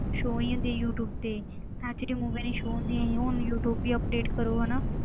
Show ਹੀ ਹੁੰਦੀਆਂ YouTube ਤੇ ਇੱਥੇ ਤੇ movies ਨੀ show ਹੁੰਦੀਆਂ ਸੀ ਹੁਣ ਯੂ ਟਿਊਬ ਦੀ update ਕਰੋ ਹਨਾ,